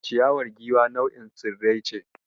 Ciyawar Giwa nau'in tsirrai ce.